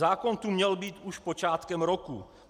Zákon tu měl být už počátkem roku.